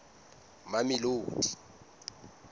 mamelodi